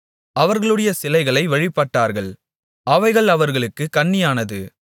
அவர்களுடைய சிலைகளை வழிபட்டார்கள் அவைகள் அவர்களுக்குக் கண்ணியானது